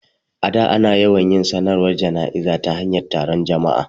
A da, ana yawan yin sanarwar jana'izar ta hanyar taron jama'a.